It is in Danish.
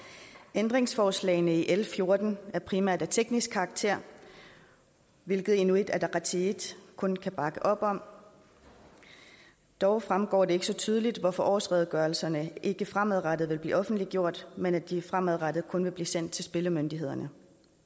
ændringsforslagene i l fjorten er primært af teknisk karakter hvilket inuit ataqatigiit kun kan bakke op om dog fremgår det ikke så tydeligt hvorfor årsredegørelserne ikke fremadrettet vil blive offentliggjort men at de fremadrettet kun vil blive sendt til spillemyndighederne